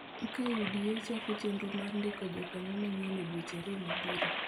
Kaka UDA chako chenro mar ndiko jokanyo manyien e dweche ariyo mabiro